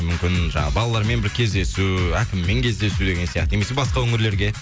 мүмкін жаңағы балалармен бір кездесу әкіммен кездесу деген сияқты немесе басқа өңірлерге